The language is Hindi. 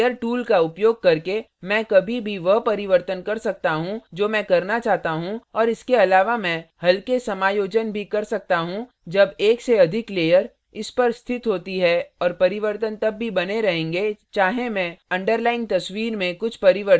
layers tool का उपयोग करके मैं कभी भी वह परिवर्तन कर सकता हूँ जो मैं करना चाहता हूँ और इसके अलावा मैं हल्के समायोजन भी कर सकता हूँ जब एक से अधिक layers इस पर स्थित होती हैं और परिवर्तन तब भी बने रहेंगे चाहे मैं underlying अंतर्निहित तस्वीर में कुछ परिवर्तन भी कर दूं